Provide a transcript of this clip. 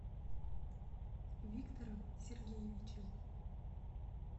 виктором сергеевичем